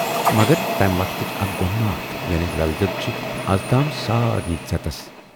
مگر تَمہِ وقتٕچ اکھ گۅنماتھ یعنے"لل دید"چھِ اَزتام سارِنٕے ژٮ۪تَس۔